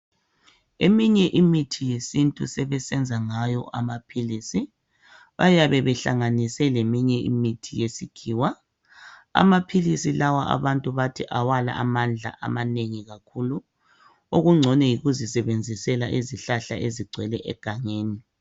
Eminye imithi yesintu sebesenza ngayo amaphilisi bayabe bahlanganise leminye imithi yesikhiwa amaphilisi lawa abantu bathi awalamandla amanengi kakhulu okungcono yikuzisebenzisele izihlahla ezigcwele egangeni